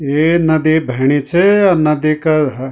ये नदी बहणी च और नदी का ह --